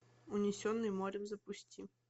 унесенный морем запусти